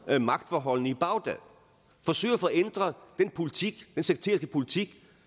magtforholdene i bagdad og forsøger at få ændret den sekteriske politik